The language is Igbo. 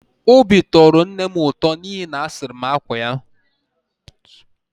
Obi tọrọ nne m ụtọ n’ihi na m sụrụ akwa ya